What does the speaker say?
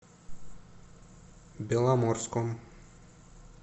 беломорском